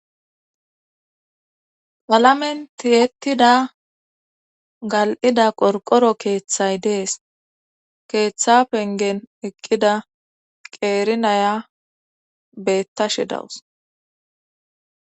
Qalamen tiyettida gal7ida qorqoro keeththay dees keeththa pengen eqqida qeerinaya beettashe dawus